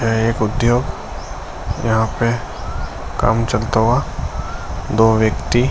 यह एक उद्योग यहाँ पे काम चलता हुआ दो व्यक्ति --